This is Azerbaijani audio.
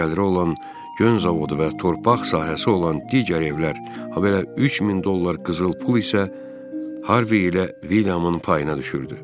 Yaxşı gəliri olan gön zavodu və torpaq sahəsi olan digər evlər, habelə 3000 dollar qızıl pul isə Harvey ilə Wilhamın payına düşürdü.